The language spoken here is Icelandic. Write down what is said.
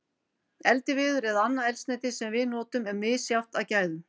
Eldiviður eða annað eldsneyti sem við notum er misjafnt að gæðum.